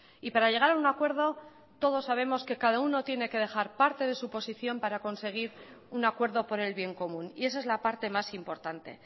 y para llegar a un acuerdo todos sabemos que cada uno tiene que dejar parte de suposición para conseguir un acuerdo por el bien común y esa es la parte más importante